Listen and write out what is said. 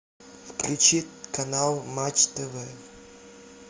включи канал матч тв